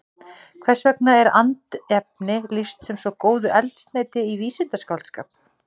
Hvers vegna er andefni lýst sem svo góðu eldsneyti í vísindaskáldskap?